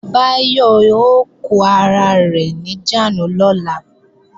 Báyọ̀ ó kó ara rẹ̀ níjàánu lọ́la